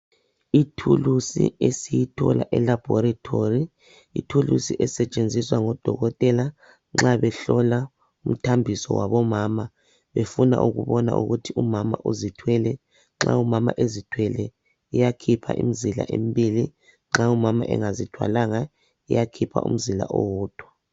Ithulusi esiyithola elaboratory, ithulusi esetshenziswa ngodokotela nxa behlola umthambiso wabomama befuna ukubona ukuthi kumama uzithwele. Nxa umama ezithwele iyakhipha imizila emibili nxa engazithwalanga iyakhipha umzila owodwa.